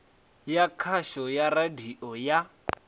ya khasho ya radio ya